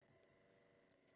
DR1